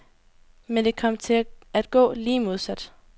Men det kom til at gå lige modsat.